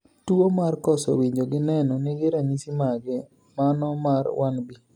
Tuo mar koso winjo gi neno nigi ranyisi mage, mano mar 1B?